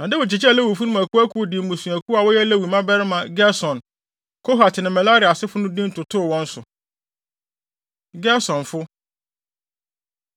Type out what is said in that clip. Na Dawid kyekyɛɛ Lewifo no mu akuwakuw de mmusuakuw a wɔyɛ Lewi mmabarima Gerson, Kohat ne Merari asefo no din totoo wɔn so. Gersonfo